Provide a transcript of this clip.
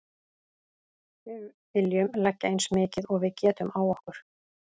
Við viljum leggja eins mikið og við getum á okkur.